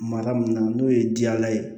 Mara mun na n'o ye jala ye